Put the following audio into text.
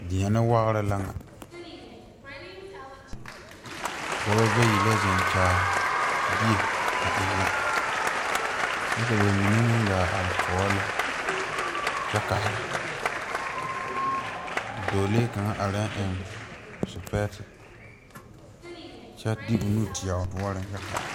Deɛne waɡre la ŋa dɔba bayi la zeŋkyaare bie a ennɛ kyɛ ka ba mine meŋ ɡaa are tɔɔre lɛ kyɛ kaara dɔɔlee kaŋ arɛɛ eŋ sepɛɛse kyɛ de nu teɛ o noɔriŋ kyɛ kaara.